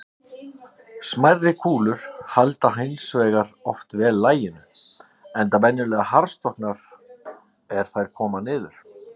Smærri kúlur halda hins vegar oft vel laginu, enda venjulega harðstorknar er þær koma niður.